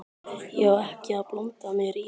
Ég á ekki að blanda mér í það.